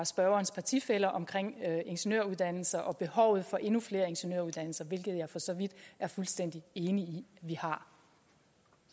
spørgerens partifæller om ingeniøruddannelser og behovet for endnu flere ingeniøruddannelser hvilket jeg for så vidt er fuldstændig enig